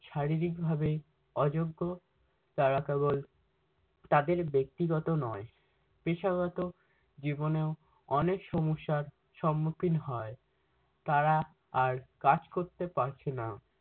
শারীরিকভাবে অযোগ্য তারা কেবল তাদের ব্যক্তিগত নয় পেশাগত জীবনেও অনেক সমস্যার সম্মুক্ষীণ হয়। তারা আর কাজ করতে পারছে না।